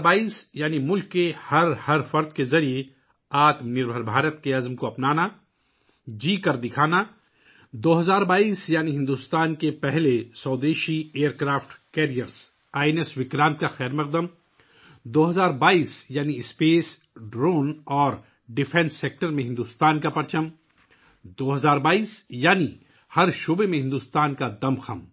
بحری جہاز I N S Vikrant کا خیرمقدم کرنا، 2022 ء کا مطلب ہے خلا، ڈرون اور دفاعی شعبے میں بھارت کی شان ، 2022 ء کا مطلب ہر میدان میں بھارت کی کامیابی ہے